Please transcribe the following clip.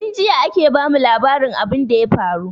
Tin jiya ake ba mu labarin abin da ya faru